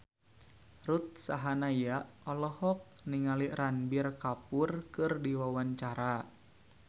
Ruth Sahanaya olohok ningali Ranbir Kapoor keur diwawancara